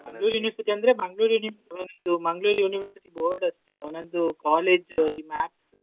University ಅಂದ್ರೆ Mangalore ಅವನದ್ದು Mangalore University Board ಅಷ್ಟೆ ಅವನದ್ದು college .